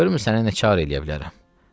Görüm sənə necə çarə eləyə bilərəm.